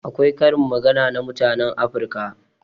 Akwai karin magana na mutanen Afirika.